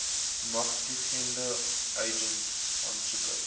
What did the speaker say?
magtigende agent aansoeker